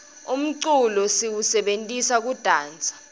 umculo siwusebentisa kudansa